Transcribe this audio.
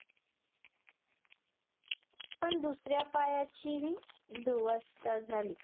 पण दुसऱ्या पायाचीही दुवस्था झाली